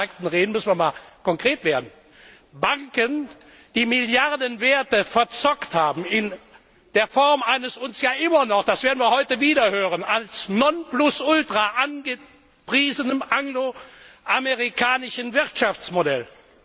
Wenn wir von den Märkten reden, müssen wir einmal konkret werden, Banken, die Milliardenwerte verzockt haben in der Form eines uns ja immer noch das werden wir heute wieder hören als Nonplusultra angepriesenen angloamerikanischen Wirtschaftsmodells.